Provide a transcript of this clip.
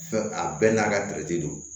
Fɛn a bɛɛ n'a ka don